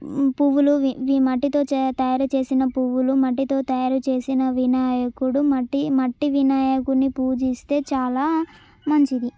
ఈ పువ్వులు వి-ఇవి మట్టితో తయారు చేసిన పువ్వులు మట్టితో తయారు చేసిన వినాయకుడు మట్టి-మట్టి వినాయకుణ్ణి పూజిస్తే చాలా మంచిది.